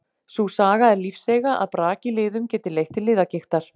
Sú saga er lífseiga að brak í liðum geti leitt til liðagigtar.